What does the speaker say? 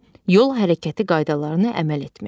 Yol hərəkəti qaydalarına əməl etmək.